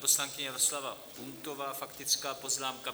Poslankyně Jaroslava Puntová, faktická poznámka.